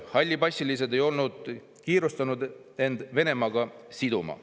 Hallipassilised ei olnud kiirustanud end Venemaaga siduma.